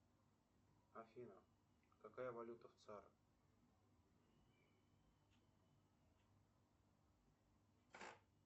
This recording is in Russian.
афина какая валюта в цар